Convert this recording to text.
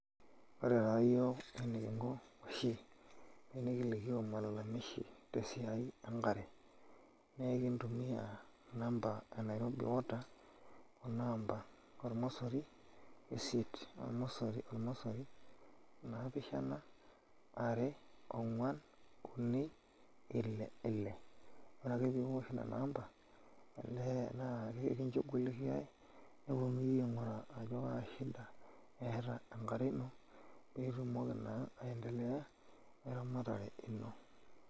Ore taa ake oshi enikinko tenikilikioo malalamishi tesiai enkare naa ekintumiaa namba e Nairobi water kuna amba ormosori isiet ormosori ormosori naapishana are ongwan uni ile ile ore ake piiosh nena amba olee naa akinchugulikiai nilikia ajo kaa shida eeta enkare ino nitumoki naa aiendelea eramatare ino.